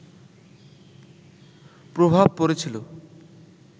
প্রভাব পড়েছিলো